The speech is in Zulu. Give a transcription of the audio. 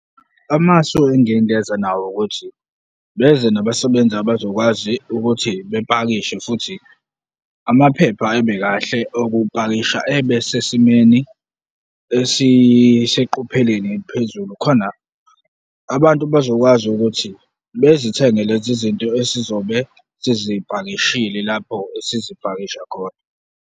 Amasu engingeza nawo ukuthi, beze nabasebenzi abazokwazi ukuthi bepakishe futhi amaphepha ebe kahle okupakisha, ebe sesimeni esiseqophelweni eliphezulu khona abantu bazokwazi ukuthi bezithenge lezi zinto esizobe sizipakishile lapho esizipakisha khona.